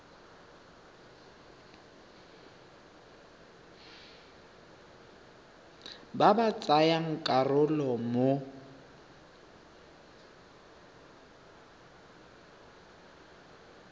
ba ba tsayang karolo mo